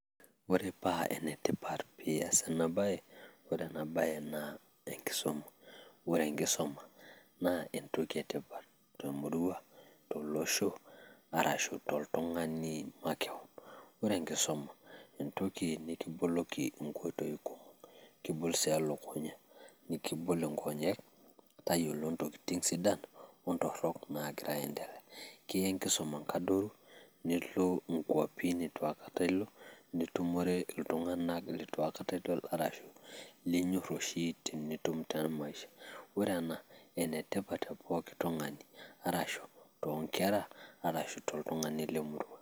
Ore paa enetipat peeias ena baye, ore ena baye naa enkisuma ore enkisuma naa entoki etipat temurua, tolosho arashu toltung'ani makewon. Ore enkisuma, entoki nikiboloki inkoitoi kumok kibol sii elukuny'a nikibol nkony'ek tayiolo intokin sidan ontorrok naagira aiendelea, kiya enkisuma inkadoru, nilo inkuapi nitu aikata ilo, nitumore iltung'anak lito aikata idol arashu linyorr oshi tenitum tena maisha. Ore ena enetipat te pooki tung'ani arashu toonkerra arashu toltung'ani lemurua.